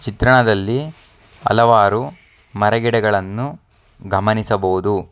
ಚಿತ್ರಣದಲ್ಲಿ ಹಲವಾರು ಮರ ಗಿಡಗಳನ್ನು ಗಮನಿಸಬಹುದು.